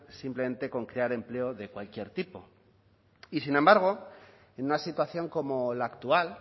simplemente con crear empleo de cualquier tipo y sin embargo en una situación como la actual